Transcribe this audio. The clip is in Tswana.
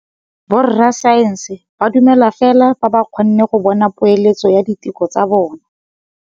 Borra saense ba dumela fela fa ba kgonne go bona poeletsô ya diteko tsa bone.